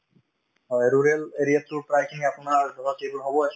হয়, rural area ত to প্ৰায়খিনি আপোনাৰ ধৰক সেইটো হবয়ে